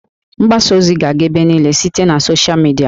Mgbasa ozi ga-aga ebe niile site na sochịa midia